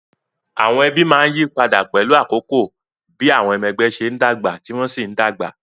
Àwọn ẹbí máa ń yí padà pẹ̀lú àkókò bí àwọn ọmọ ẹgbẹ́ ṣe ń dàgbà tí wọ́n sì ń dàgbà